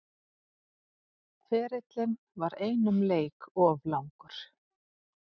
Ferillinn var einum leik of langur